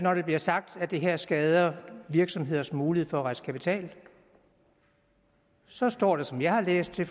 bliver sagt at det her skader virksomheders mulighed for at rejse kapital så står der som jeg har læst det